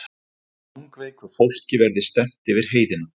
Langveiku fólki verði stefnt yfir heiðina